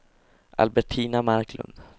Albertina Marklund